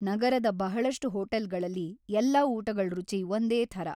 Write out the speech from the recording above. ನಗರದ ಬಹಳಷ್ಟು ಹೋಟೆಲ್ಗಳಲ್ಲಿ, ಎಲ್ಲಾ ಊಟಗಳ್‌ ರುಚಿ ಒಂದೇಥರ.